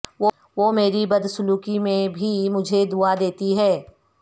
وہ میری بد سلوکی میں بھی مجھے دعا دیتی ہے